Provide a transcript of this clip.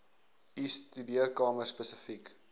u studeerkamer spesifiek